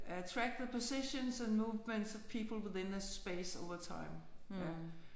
Ja track the positions and movements of people within a space over time ja